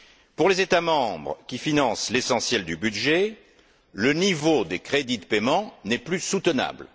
Pour les États membres qui financent l'essentiel du budget, le niveau des crédits de paiement n'est plus soutenable.